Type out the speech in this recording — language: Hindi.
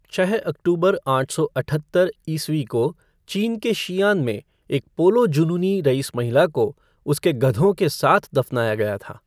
छः अक्टूबर आठ सौ अठहत्तर ईस्वी को चीन के शीयान में एक पोलो जुनूनी रईस महिला को उसके गधों के साथ दफनाया गया था।